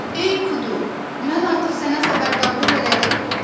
Ey Kudu, mən artıq sənə xəbərdarlıq elədim.